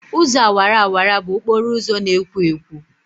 Ụzọ awara awara bụ okporo ụzọ na-ekwo ekwo.